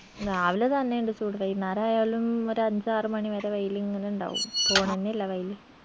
രാവില തന്നെയിണ്ട് ചൂട് വൈന്നേരായാലും ഒരഞ്ചാറ് മണി വരെ വെയിലിങ്ങന ഇണ്ടാവും പോണെന്നില്ല വെയില്